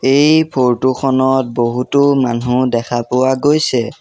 এই ফটো খনত বহুতো মানুহ দেখা পোৱা গৈছে।